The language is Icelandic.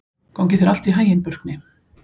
Gangi þér allt í haginn, Burkni.